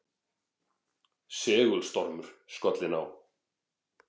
Segulstormur skollinn á